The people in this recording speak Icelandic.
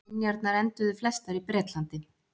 Minjarnar enduðu flestar í Bretlandi.